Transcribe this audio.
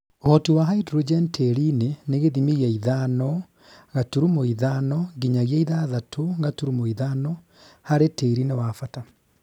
Ũhoti wa hydrogen tĩĩri-inĩ nĩ gĩthimi kĩa ithano gaturumo ithano nginyagia ithathatũ gaturumo ithano harĩ tĩri nĩ wabata